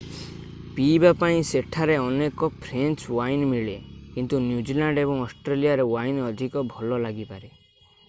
ପିଇବା ପାଇଁ ସେଠାରେ ଅନେକ ଫ୍ରେଞ୍ଚ ୱାଇନ୍ ମିଳେ କିନ୍ତୁ ନ୍ୟୁଜିଲ୍ୟାଣ୍ଡ ଏବଂ ଅଷ୍ଟ୍ରେଲିଆର ୱାଇନ୍ ଅଧିକ ଭଲ ଲାଗିପାରେ